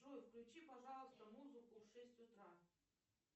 джой включи пожалуйста музыку в шесть утра